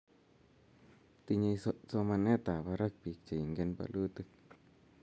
tinyei somanetab barak biik che ingen bolutik